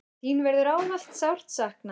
Þín verður ávallt sárt saknað.